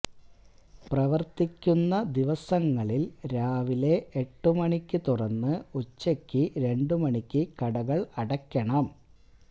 പ്രവര്ത്തിക്കുന്ന ദിവസങ്ങളില് രാവിലെ എട്ടു മണിക്കു തുറന്ന് ഉച്ചയ്ക്കു രണ്ടു മണിക്ക് കടകള് അടയ്ക്കണം